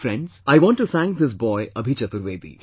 Friends, I want to thank this boy Abhi Chaturvedi